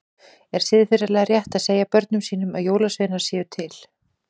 Er siðferðilega rétt að segja börnum sínum að jólasveinar séu til?